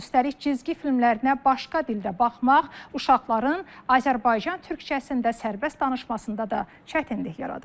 Üstəlik cizgi filmlərinə başqa dildə baxmaq uşaqların Azərbaycan türkcəsində sərbəst danışmasında da çətinlik yaradır.